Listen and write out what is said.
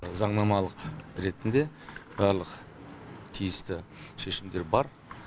заңнамалық ретінде барлық тиісті шешімдер бар